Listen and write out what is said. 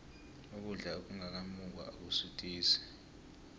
ukudla okungaka mungwa akusuthisi